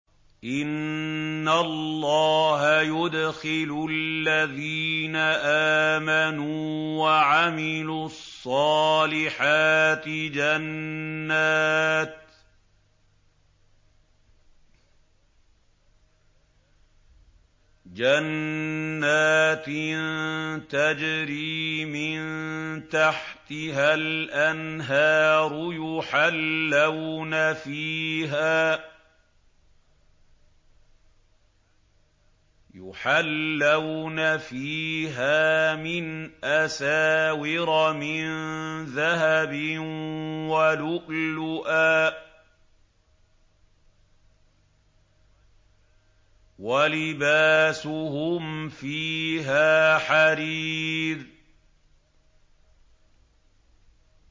إِنَّ اللَّهَ يُدْخِلُ الَّذِينَ آمَنُوا وَعَمِلُوا الصَّالِحَاتِ جَنَّاتٍ تَجْرِي مِن تَحْتِهَا الْأَنْهَارُ يُحَلَّوْنَ فِيهَا مِنْ أَسَاوِرَ مِن ذَهَبٍ وَلُؤْلُؤًا ۖ وَلِبَاسُهُمْ فِيهَا حَرِيرٌ